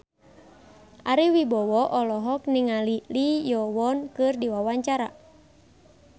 Ari Wibowo olohok ningali Lee Yo Won keur diwawancara